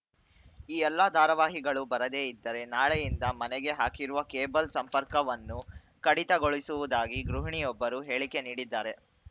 ಈ ಎಲ್ಲಾ ಧಾರಾವಾಹಿಗಳು ಬರದೇ ಇದ್ದರೆ ನಾಳೆಯಿಂದ ಮನೆಗೆ ಹಾಕಿರುವ ಕೇಬಲ್‌ ಸಂಪರ್ಕವನ್ನು ಕಡಿತಗೊಳಿಸುವುದಾಗಿ ಗೃಹಿಣಿಯೊಬ್ಬರು ಹೇಳಿಕೆ ನೀಡಿದ್ದಾರೆ